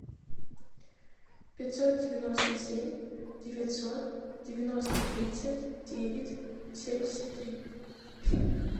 пятьсот девяносто семь девятьсот девяносто тридцать девять семьдесят три